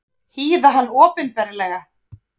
Hýða hann opinberlega!